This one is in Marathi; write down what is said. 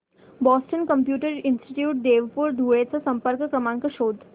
बॉस्टन कॉम्प्युटर इंस्टीट्यूट देवपूर धुळे चा संपर्क क्रमांक शोध